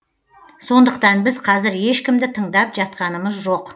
сондықтан біз қазір ешкімді тыңдап жатқанымыз жоқ